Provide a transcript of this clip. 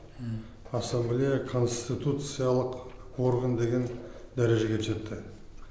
ассамблея конституциялық орган деген дәрежеге жетті